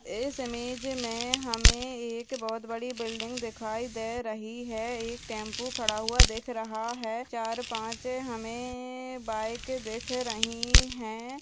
इस इमेज मे हमे एक बहोत बड़ी बिल्डिंग दिखाई दे रही है एक टेम्पो खड़ा हुआ दिख रहा है चार-पाँच हमे बाईक दिख रही है।